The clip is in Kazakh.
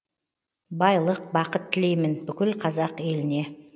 байлық бақыт тілеймін бүкіл қазақ еліне